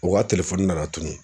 O ka nana tunu